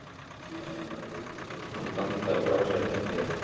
Hann bandar frá sér hendinni.